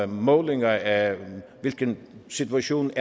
målinger af hvilken situation